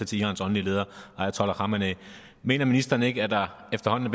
til irans åndelige leder ayatollah khamenei mener ministeren ikke at der efterhånden